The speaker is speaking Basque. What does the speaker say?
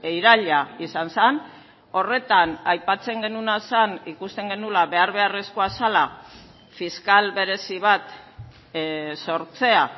iraila izan zen horretan aipatzen genuena zen ikusten genuela behar beharrezkoa zela fiskal berezi bat sortzea